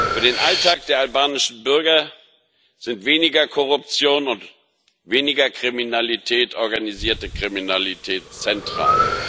Für den Alltag der albanischen Bürger sind weniger Korruption und weniger Kriminalität, organisierte Kriminalität zentral.